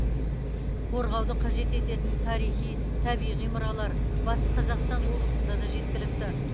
қорғауды қажет ететін тарихи табиғи мұралар батыс қазақстан облысында да жеткілікті